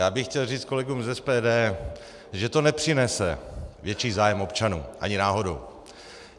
Já bych chtěl říct kolegům z SPD, že to nepřinese větší zájem občanů, ani náhodou.